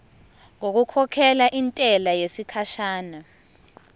ngokukhokhela intela yesikhashana